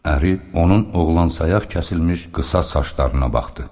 Əri onun oğlan sayaq kəsilmiş qısa saçlarına baxdı.